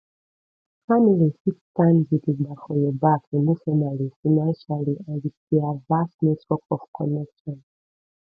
family fit stand gidigba for your back emotionally financially and with their vast network of connection